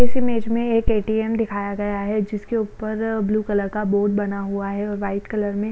इस इमेज में एक ए.टी.एम. दिखाया गया हैंजिसके ऊपर ब्लू कलर का बोर्ड बना हुआ है और व्हाईट कलर में--